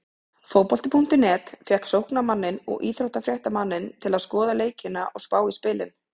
Fótbolti.net fékk sóknarmanninn og íþróttafréttamanninn til að skoða leikina og spá í spilin.